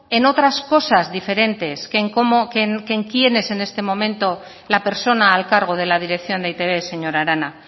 en otras cosas diferentes que en quién es en este momento la persona al cargo de la dirección de e i te be señora arana